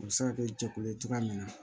U bɛ se ka kɛ jɛkulu ye cogoya min na